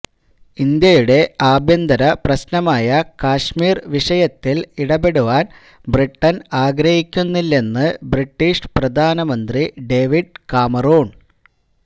ഇന്ത്യയുടെ ആഭ്യന്തര പ്രശ്നമായ കാശ്മീര് വിഷയത്തില് ഇടപെടുവാന് ബ്രിട്ടണ് ആഗ്രഹിക്കുന്നില്ലെന്ന് ബ്രിട്ടീഷ് പ്രധാനമന്ത്രി ഡേവിഡ് കാമറൂണ്